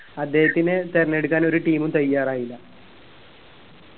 അദ്ദേഹത്തിനെ തിരഞ്ഞെടുക്കാൻ ഒരു team ഉം തയ്യാറായില്ല